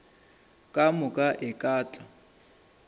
ka moka e ka tla